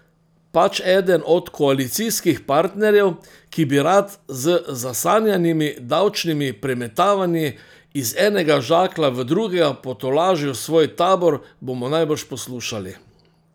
Pač eden od koalicijskih partnerjev, ki bi rad z zasanjanimi davčnimi premetavanji iz enega žaklja v drugega potolažil svoj tabor, bomo najbrž poslušali.